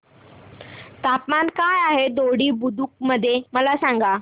तापमान काय आहे दोडी बुद्रुक मध्ये मला सांगा